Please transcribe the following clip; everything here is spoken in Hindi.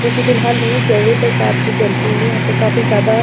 जो कि फिलहाल नहीं जल रही बट रात में जलती होंगी यहाँ पे काफ़ी ज़्यादा--